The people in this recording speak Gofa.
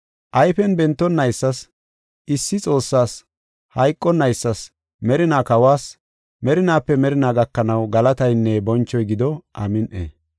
Ayfen bentonnaysas, issi Xoossaas, hayqonaysas, merinaa Kawas, merinaape merinaa gakanaw galataynne bonchoy gido. Amin7i.